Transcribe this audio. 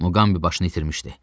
Muqambi başını itirmişdi.